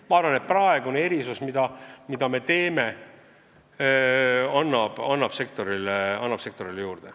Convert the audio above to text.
Ma arvan, et kui me selle erisuse teeme, siis annab see sektorile juurde.